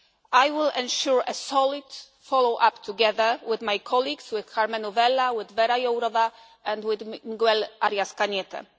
track. I will ensure a solid follow up together with my colleagues, with Karmenu Vella, with Věra Jourová, and with Miguel Arias